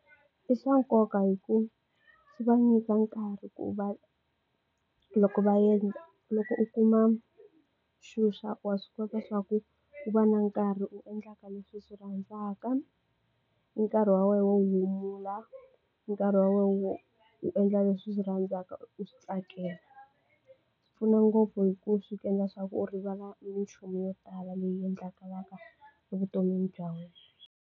I swa nkoka hi ku swi va nyika nkarhi ku va loko va endla loko u kuma xuxa wa swi kota swa ku u va na nkarhi u endlaka leswi swi rhandzaka nkarhi wa wena wo humula nkarhi wa wena wu u endla leswi swi rhandzaka u swi tsakela swi pfuna ngopfu hi ku swi ku endla swa ku u rivala minchumu yo tala leyi endlekalaka evuton'wini bya wena.